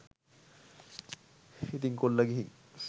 ඉතින් කොල්ල ගිහින්